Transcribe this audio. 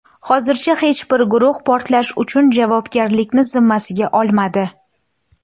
Hozircha hech bir guruh portlash uchun javobgarlikni zimmasiga olmadi.